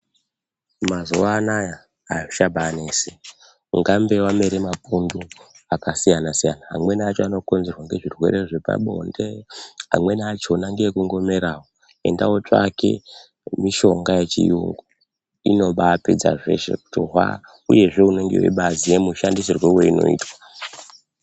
Mazuva anaya azvicha bainesi ungambe wamere mapundu aka siyana siyana amweni acho ano konzerwa nge zvirwere zvepa bonde amweni achona ngekungo merawo enda otsvake mishonga ye chiyungu inobai pedza zveshe kuti hwaa uyezve unenge weiba ziye mushandisirwo weinoitwa.